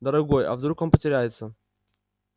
дорогой а вдруг он потеряется